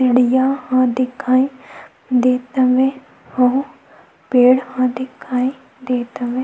बढ़िया घर दिखाई देत हवे आऊ पेड़ ह दिखाई देत हवे।